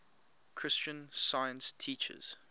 christian science teaches